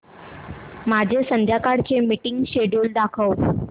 माझे संध्याकाळ चे मीटिंग श्येड्यूल दाखव